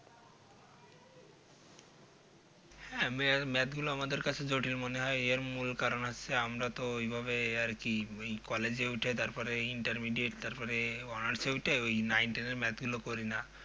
হ্যাঁ Math গুলো আমাদের কাছে জটিল মনে হয় এর মূল কারণ হচ্ছে আমরা তো ঐভাবে আরকি collage উঠে তারপরে Intermidiate তারপরে . ওই Nine ten এর Math গুলো করি না